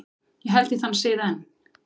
Ég held í þann sið enn.